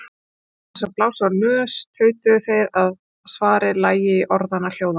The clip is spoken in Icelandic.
Án þess að blása úr nös tautuðu þeir að svarið lægi í orðanna hljóðan.